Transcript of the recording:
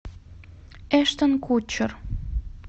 эштон кутчер